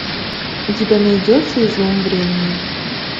у тебя найдется излом времени